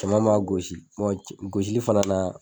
Cɛman b'a gosi. gosili fana na.